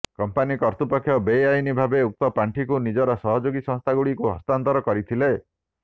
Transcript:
company କର୍ତ୍ତୃପକ୍ଷ ବେଆଇନ୍ ଭାବେ ଉକ୍ତ ପାଣ୍ଠିକୁ ନିଜର ସହଯୋଗୀ ସଂସ୍ଥାଗୁଡ଼ିକୁ ହସ୍ତାନ୍ତର କରିଥିଲେ